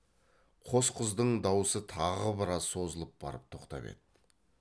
қос қыздың даусы тағы біраз созылып барып тоқтап еді